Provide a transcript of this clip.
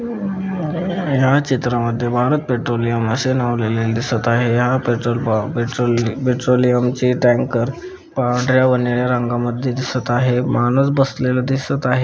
या चित्रा मध्ये भारत पेट्रोलियम असे नाव लिहिलेले दिसत आहे हया पेट्रोल पा पेट्रोल पेट्रोलियम चे टँकर पांढर्‍या व निळ्या रंगा मध्ये दिसत आहे माणूस बसलेला दिसत आहे.